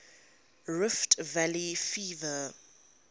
rift valley fever